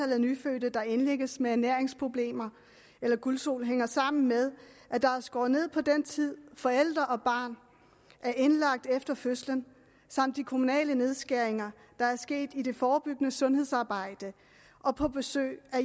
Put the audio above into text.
af nyfødte der indlægges med ernæringsproblemer eller gulsot hænger sammen med at der er skåret ned på den tid forælder og barn er indlagt efter fødslen samt de kommunale nedskæringer der sker i det forebyggende sundhedsarbejde og på besøg af